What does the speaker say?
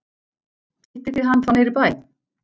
Hittið þið hann þá niðri í bæ.